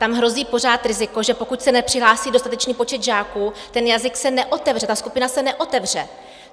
Tam hrozí pořád riziko, že pokud se nepřihlásí dostatečný počet žáků, ten jazyk se neotevře, ta skupina se neotevře.